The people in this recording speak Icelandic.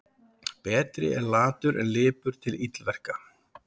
Betri er latur en lipur til illverka.